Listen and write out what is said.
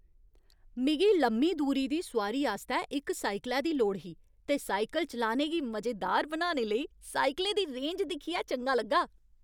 मिगी लम्मी दूरी दी सोआरी आस्तै इक साइकलै दी लोड़ ही ते साइकल चलाने गी मजेदार बनाने लेई साइकलें दी रेंज दिक्खियै चंगा लग्गा।